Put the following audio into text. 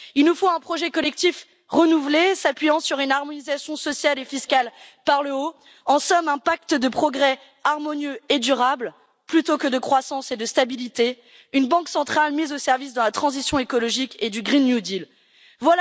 Il nous faut un projet collectif renouvelé s'appuyant sur une harmonisation sociale et fiscale par le haut, en somme un pacte de progrès harmonieux et durable, plutôt que de croissance et de stabilité, une banque centrale mise au service de la transition écologique et du nouveau pacte vert.